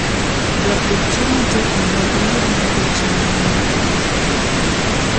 Jopur tiyo matek mondo gimed nyago cham mang'eny kinde ka kinde.